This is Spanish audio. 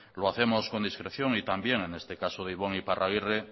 lo hacemos con discreción y también en este caso de ibon iparragirre